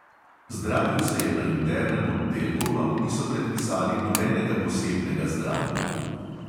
Zdravil se je na internem oddelku, a mu niso predpisali nobenega posebnega zdravljenja.